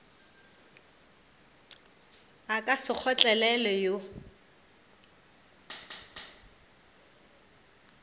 a ka se kgotlelelwe wo